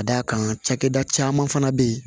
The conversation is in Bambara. Ka d'a kan cakɛda caman fana be yen